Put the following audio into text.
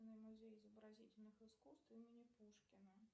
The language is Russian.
музей изобразительных искусств имени пушкина